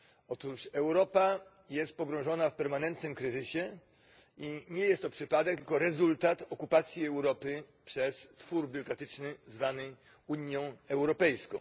Otóż Europa jest pogrążona w permanentnym kryzysie i nie jest to przypadek tylko rezultat okupacji Europy przez twór biurokratyczny zwany Unią Europejską.